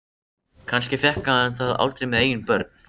Kannski fékk hann það aldrei með eigin börn.